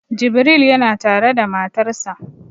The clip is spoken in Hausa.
Jibril yana tare da matarsa